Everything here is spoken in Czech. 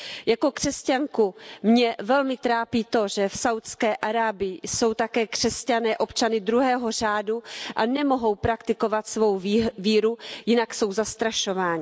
Jako křesťanku mě velmi trápí to, že v Saudské Arábii jsou také křesťané občany druhého řádu a nemohou praktikovat svou víru, jinak jsou zastrašováni.